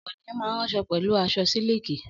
Ọ̀pọ̀ ènìyàn máa ń ránṣọ pẹ̀lú aṣọ sílíkì.